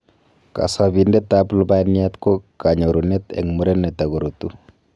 kasabindet ap lubaniat ko kanyorunet eng muren kotagorutu